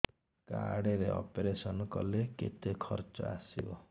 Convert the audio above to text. card ରେ operation କଲେ କେତେ ଖର୍ଚ ଆସିବ